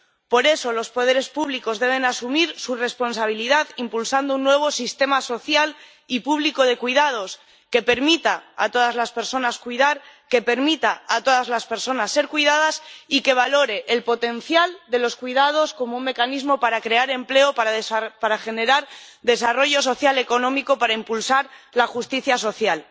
Por eso, los poderes públicos deben asumir su responsabilidad impulsando un nuevo sistema social y público de cuidados que permita a todas las personas cuidar, que permita a todas las personas ser cuidadas y que valore el potencial de los cuidados como un mecanismo para crear empleo, para generar desarrollo social y económico, para impulsar la justicia social.